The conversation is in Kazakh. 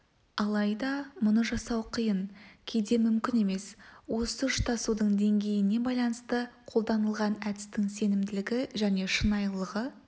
алайда мұны жасау қиын кейде мүмкін емес осы ұштасудың деңгейіне байланысты қолданылған әдістің сенімділігі және шынайылығы